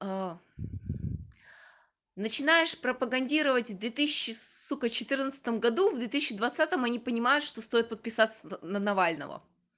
а начинаешь пропагандировать с две тысячи сука четырнадцатом году в две тысячи двадцатом они понимают что стоит подписаться на навального